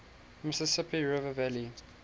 mississippi river valley